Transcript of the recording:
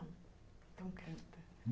Então canta.